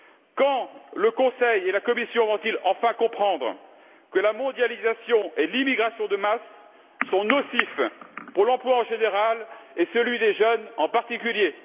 Quand le Conseil et la Commission vont ils enfin comprendre que la mondialisation et l'immigration de masse sont nocives pour l'emploi en général et celui des jeunes en particulier.